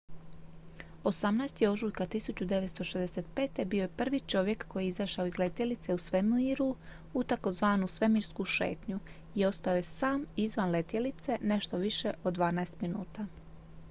"18. ožujka 1965. bio je prvi čovjek koji je izašao iz letjelice u svemiru u tzv. "svemirsku šetnju" i ostao je sam izvan letjelice nešto više od dvanaest minuta.